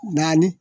Naani